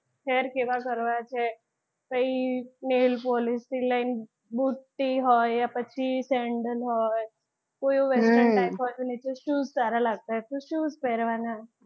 hair કેવા કરવા છે પછી nail polish થી લઈને બુટ્ટી હોય કે પછી sandel હોય હમ કોઈ એવું western type હોય નય તો shoes સારા લાગતાં હોય તો shoes પહેરવાનાં.